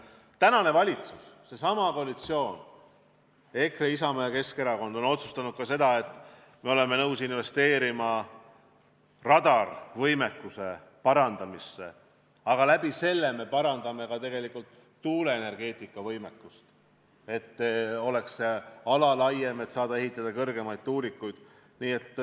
Tänane valitsus, seesama koalitsioon – EKRE, Isamaa ja Keskerakond – on otsustanud ka seda, et me oleme nõus investeerima radarivõimekuse parandamisse, aga sellega me parandame tegelikult ka tuulenergeetika võimalusi, sest see ala oleks suurem, kus saaks ehitada kõrgemaid tuulikuid.